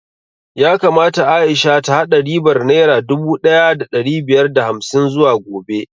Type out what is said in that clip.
Yakamata Aisha ta haɗa ribar naira dubu ɗaya da ɗari biyar da hamsin zuwa gobe